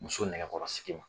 Muso nɛgɛkɔrɔsigi ma.